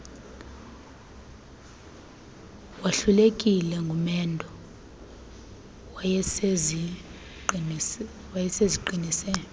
wahlulekile ngumendo wayeseziqinise